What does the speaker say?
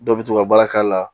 Dɔw bɛ to ka baara k'a la